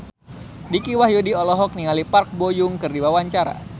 Dicky Wahyudi olohok ningali Park Bo Yung keur diwawancara